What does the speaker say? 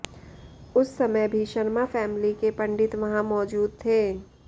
उस समय भी शर्मा फैमिली के पंडित वहां मौजूद थे